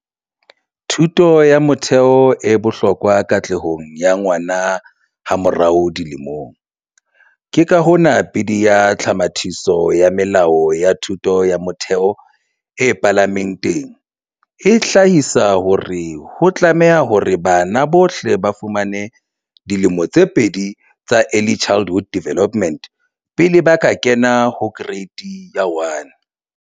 Thuto ya motheo e bohlokwa katlehong ya ngwana hamo rao dilemong, ke ka hona Bili ya Tlhomathiso ya Melao ya Thuto ya Motheo e Palame nteng e hlahisa hore ho tlame hore bana bohle ba fumane dilemo tse pedi tsa ECD pele ba kena ho Kereiti ya 1.